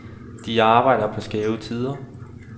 De arbejder på skæve tider.